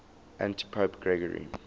antipope gregory